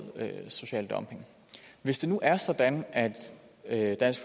er social dumping hvis det nu er sådan at dansk